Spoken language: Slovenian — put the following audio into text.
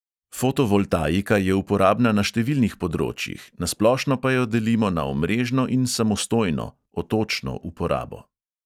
Fotovoltaika je uporabna na številnih področjih, na splošno pa jo delimo na omrežno in samostojno uporabo.